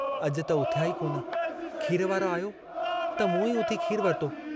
अजु त उथिया ई कोन, खीर वारो आयो त मूं ई उथी खीरु वरितो।